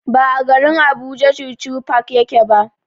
Ba a garin Abuja chuchu park yake ba.